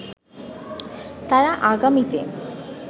তারা আগামীতে